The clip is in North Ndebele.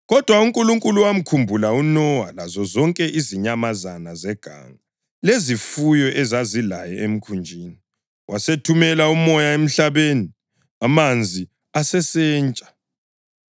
Kodwa uNkulunkulu wamkhumbula uNowa lazozonke izinyamazana zeganga lezifuyo ezazilaye emkhunjini, wasethumela umoya emhlabeni, amanzi asesentsha.